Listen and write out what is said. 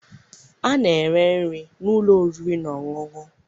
A na-ere nri n'ụlọ oriri na ọṅụṅụ.